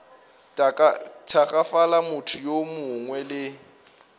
tagafala motho yo mongwe le